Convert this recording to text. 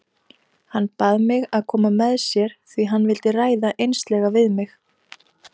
Hann bað mig að koma með sér því hann vildi ræða einslega við mig.